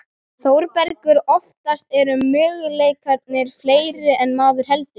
ÞÓRBERGUR: Oftast eru möguleikarnir fleiri en maður heldur.